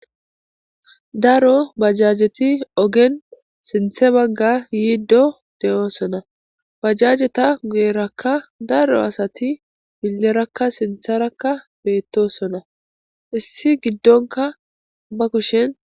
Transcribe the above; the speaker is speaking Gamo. Daro bajajeti ogen sinthe bagga yiiddo de7oosona bajajeta gu7erakka daro asati milerakka sintherakka beettosona issi giddonka ba kushen.